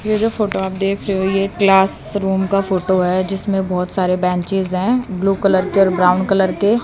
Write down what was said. ये जो फोटो आप देख रहे हो ये क्लास रूम का फोटो है जिसमें बहोत सारे बैंचेस है ब्लू कलर के और ब्राउन कलर के--